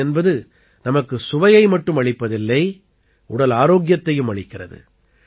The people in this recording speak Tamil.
தேன் என்பது நமக்கு சுவையை மட்டும் அளிப்பதில்லை உடல் ஆரோக்கியத்தையும் அளிக்கிறது